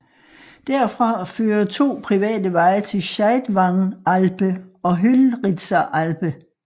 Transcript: Derfra fører to private veje til Scheidwangalpe og Höllritzer Alpe